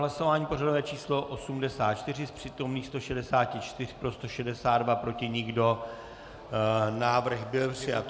Hlasování pořadové číslo 84, z přítomných 164 pro 162, proti nikdo, návrh byl přijat.